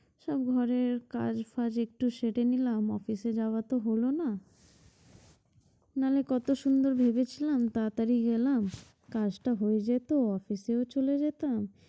সব ঘরের কাজ ফাজ একটু সেটে নিলাম office এ যাওয়া তো হলো না নাহলে কত সুন্দর ভেবেছিলাম তাতাড়ি গেলাম কাজটা হয়ে যেত office এও চলে যেতাম